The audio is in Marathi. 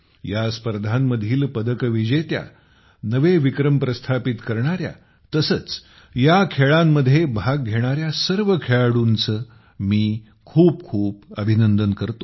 या स्पर्धांतील पदक विजेत्या नवे विक्रम स्थापित करणाऱ्या तसेच या खेळांमध्ये भाग घेणाऱ्या सर्व खेळाडूंचे खूप खूप अभिनंदन करतो